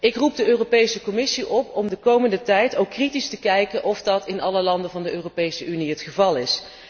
Ik roep de Europese Commissie op om de komende tijd kritisch te bekijken of dat in alle landen van de Europese Unie het geval is.